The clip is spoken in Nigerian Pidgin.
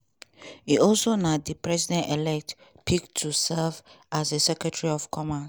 e also na di president-elect pick to serve as secretary of commerce.